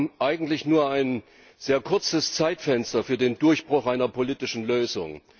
wir haben eigentlich nur ein sehr kurzes Zeitfenster für den Durchbruch einer politischen Lösung.